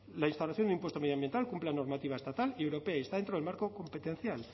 la instauración de impuesto medioambiental cumple la normativa estatal y europea y está dentro del marco competencial